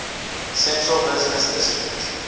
central business district